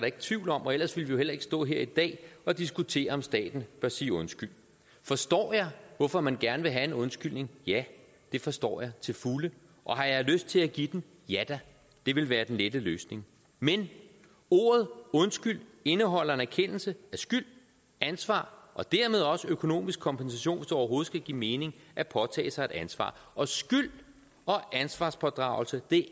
ikke tvivl om og ellers ville vi jo heller ikke stå her i dag og diskutere om staten bør sige undskyld forstår jeg hvorfor man gerne vil have en undskyldning ja det forstår jeg til fulde og har jeg lyst til at give den ja da det vil være den lette løsning men ordet undskyld indeholder en erkendelse af skyld ansvar og dermed også økonomisk kompensation hvis overhovedet skal give mening at påtage sig et ansvar og skyld og ansvarspådragelse